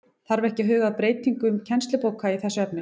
Þarf ekki að huga að breytingum kennslubóka í þessu efni?